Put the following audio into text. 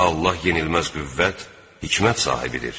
Allah yenilməz qüvvət, hikmət sahibidir.